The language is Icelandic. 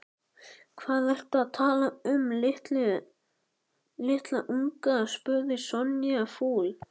Hvað ertu að tala um litla unga? spurði Sonja fúl.